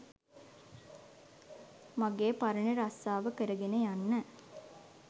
මගේ පරණ රස්සාව කරගෙන යන්න